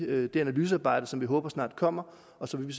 det analysearbejde som vi håber snart kommer og så vil